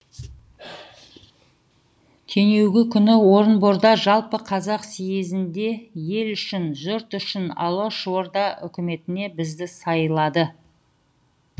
түнеугі күні орынборда жалпы қазақ съезінде ел үшін жұрт үшін алашорда үкіметіне бізді сайлады